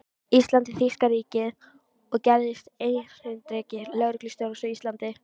Íslands í þýska ríkið og gerðist erindreki lögreglustjórans á Íslandi.